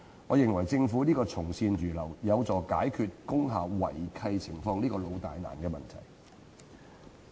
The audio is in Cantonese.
我認為政府從善如流，有助解決工廈違契情況這個"老大難"的問題。